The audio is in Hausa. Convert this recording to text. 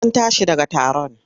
An tashi daga taron?